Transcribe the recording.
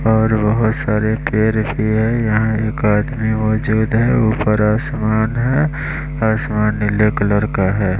और बहुत सारे पैर भी है यहाँ एक आदमी मौजूद है ऊपर आसमान है आसमान नीले कलर का है।